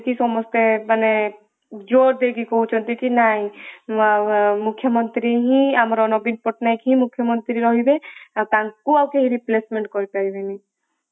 ବୋଲିକି ସମସ୍ତେ ମାନେ ଜୋର ଦେଇକି କହୁଛନ୍ତି କି ନାଇଁ ମୁଖ୍ୟମନ୍ତ୍ରୀ ହିଁ ଆମର ନବୀନ ପଟ୍ଟନାୟକ ହିଁ ମୁଖ୍ୟମନ୍ତ୍ରୀ ରହିବେ ଆଉ ତାଙ୍କ ଆଉ କେହି replacement କରିପାରିବେଣୀ ।